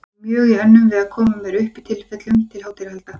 Ég var mjög í önnum við að koma mér upp tilefnum til hátíðahalda.